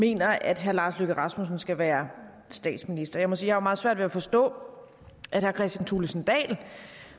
mener at herre lars løkke rasmussen skal være statsminister jeg må sige at jeg har meget svært at forstå at herre kristian thulesen dahl